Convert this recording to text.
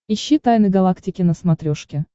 ищи тайны галактики на смотрешке